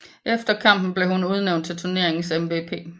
Efter kampen blev hun udnævnt til turneringens MVP